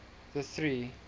the three